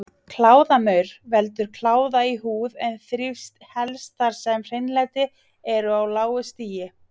Kláðamaur veldur kláða í húð en þrífst helst þar sem hreinlæti er á lágu stigi.